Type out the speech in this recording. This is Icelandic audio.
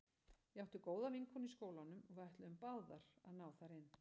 Ég átti góða vinkonu í skólanum og við ætluðum báðar að ná þar inn.